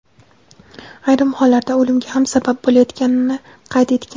ayrim hollarda o‘limga ham sabab bo‘layotganini qayd etgan.